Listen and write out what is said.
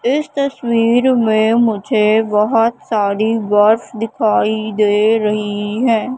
इस तस्वीर में मुझे बहुत सारी बस दिखाई दे रही हैं।